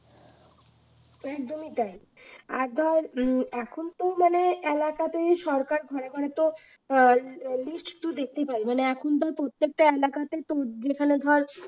একদমই তাই আর ধর উম এখন তো মানে এলাকাতে সরকার ঘরে ঘরে তো অ্যাঁ list তো দেখতে পারেই মানে এখন ধর প্রত্যেকটা এলাকাতে তোর যেকোন ধর